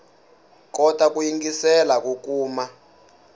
kota ku yingiselela ku kuma